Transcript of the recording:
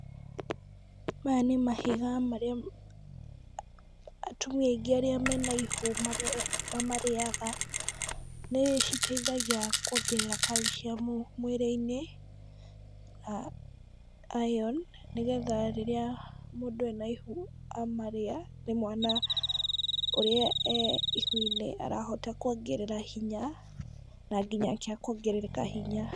Maya nĩ mahiga marĩa atumia aingĩ arĩa mena ihu ma mamarĩaga, nĩ citethagia kwongerera calcium mwĩrĩ-inĩ na iron, nĩgetha rĩrĩa mũndũ ena ihu, amarĩa nĩ mwana ũrĩa e ihu-inĩ arahota kwongerera hinya, na nginyake akahota kwongerera hinya.